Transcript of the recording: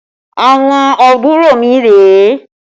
Àwọn àbúrò mi rèé